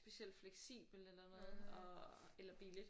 Specielt fleksibelt eller noget og eller billigt